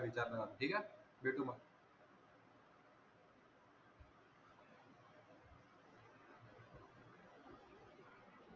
विचार न मग ठीक आहे? भेटू मग.